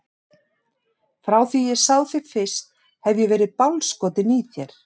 Frá því að ég sá þig fyrst hef ég verið bálskotinn í þér.